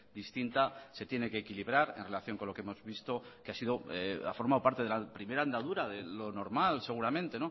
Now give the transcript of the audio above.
distinta se tiene que equilibrar en relación con lo que hemos visto que ha sido ha formado parte de la primera andadura de lo normal seguramente